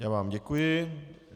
Já vám děkuji.